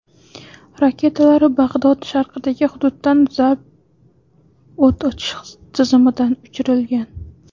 Raketalar Bag‘dod sharqidagi hududdan zalp o‘t ochish tizimidan uchirilgan.